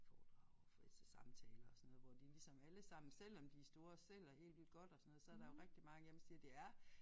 Foredrag og fritidssamtaler og sådan noget hvor de ligesom allesammen selvom de store og sælger helt vildt godt og sådan noget så der jo rigtig mange af dem siger det er